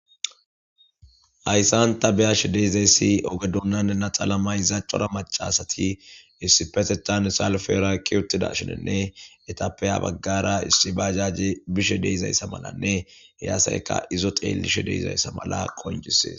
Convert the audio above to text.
hayssan ta be'ashshe de'izayssi oge dunan naxala mayizaa cora macasati issipeteththan salfera kiyi utiiddashininne etappe ya baggara issi bajajjey bishshe de'izayssa malanne he asayikka izo xeeliishshe de'izayssa mala qoncisees